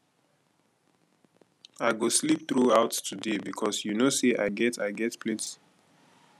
i go sleep through out today because you no say i get i get plenty work for night